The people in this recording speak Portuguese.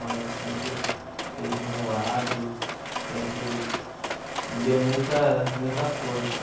Ela sempre esteve do meu lado, sempre me deu muita muita força.